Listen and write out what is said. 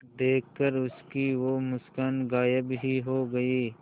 देखकर उसकी वो मुस्कान गायब ही हो गयी